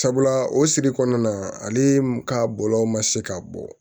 Sabula o sigi kɔnɔna ale ka bɔlɔlɔ ma se ka bɔ